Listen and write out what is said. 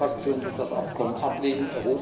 Meine Fraktion wird das Abkommen ablehnen.